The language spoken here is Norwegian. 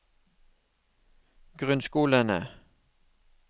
grunnskolene